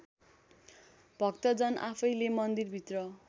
भक्तजन आफैँले मन्दिरभित्र